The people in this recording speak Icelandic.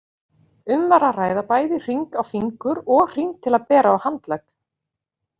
Um var að ræða bæði hring á fingur og hring til að bera á handlegg.